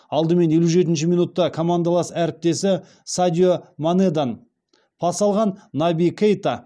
алдымен елу жетінші минутта командалас әріптесі садио манеден пас алған наби кейта